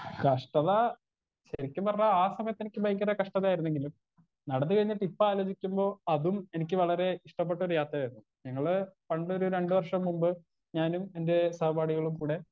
Speaker 1 കഷ്ടത ശെരിക്കും പറഞ്ഞാ ആ സമയത്ത് എനിക്ക് ഭയങ്കര കഷ്ടതയായിരുന്നെങ്കിലും നടന്ന് കഴിഞ്ഞിട്ട് ഇപ്പൊ ആലോചിക്കുമ്പൊ അതും എനിക്ക് വളരേ ഇഷ്ടപ്പെട്ടൊരു യാത്രയായിരുന്നു ഞങ്ങള് പണ്ടൊരു രണ്ട് വർഷം മുമ്പ് ഞാനും എന്റെ സഹപാഠികളും കൂടെ.